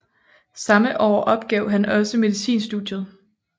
Samme år opgav han også medicinstudiet